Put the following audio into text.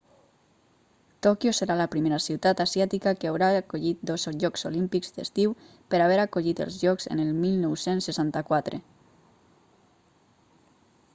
tòquio serà la primera ciutat asiàtica que haurà acollit dos jocs olímpics d'estiu per haver acollit els jocs en el 1964